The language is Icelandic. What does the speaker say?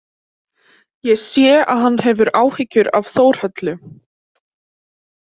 Ég sé að hann hefur áhyggjur af Þórhöllu.